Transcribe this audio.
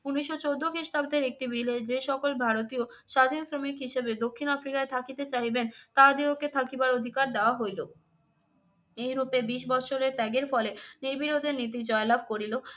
উনিশশো চোদ্দ খ্রিস্টাব্দের একটি bill এ যে সকল ভারতীয় স্বাধীন শ্রমিক হিসেবে দক্ষিণ আফ্রিকায় থাকিতে চাহিবেন, তাহাদিগকে থাকিবার অধিকার দেওয়া হইলো। এই রূপে বিশ বৎসরের ত্যাগের ফলে নির্বিরোধের নীতি জয়লাভ করিল।